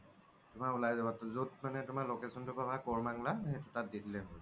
তুমাৰ উলাই যাব য্'ত মানে তুমাৰ location তো পাবা কৰমনংলা সেইতো তাত দি দিলেই হ্'ল